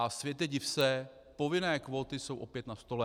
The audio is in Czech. A světe div se, povinné kvóty jsou opět na stole.